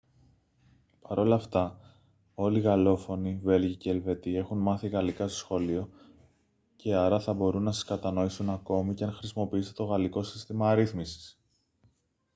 παρ' όλα αυτά όλοι οι γαλλόφωνοι βέλγοι και ελβετοί έχουν μάθει γαλλικά στο σχολείο και άρα θα μπορούν να σας κατανοήσουν ακόμη και αν χρησιμοποιήσετε το γαλλικό σύστημα αρίθμησης